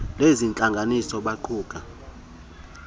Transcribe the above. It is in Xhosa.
lezi ntlanganiso baquka